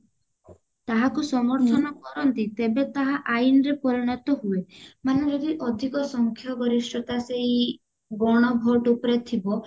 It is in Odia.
ତାହାକୁ ସମର୍ଥନ କରନ୍ତି ତେବେ ତାହା ଆଇନ ରେ ପରିଣତ ହୁଏ ମାନେ ଯଦି ଅଧିକ ସଂଖ୍ୟା ଗରିଷ୍ଠ ସେଇ ଗଣ vote ଉପରେ ଥିବ